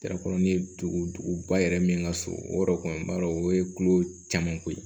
ye duguba yɛrɛ min ka so o yɔrɔ kɔni b'a o ye tulo caman ko ye